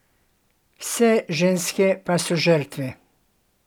Vse ženske pa so žrtve.